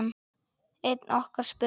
Einn okkar spurði